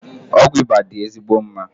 Ọgwụ ịba dị ezigbo mma